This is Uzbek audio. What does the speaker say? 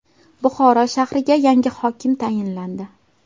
Buxoro shahriga yangi hokim tayinlandi.